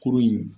Kurun in